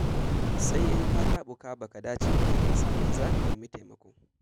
Sai in ka taɓuka ba ka dace ba sannan za ka nemi taimako.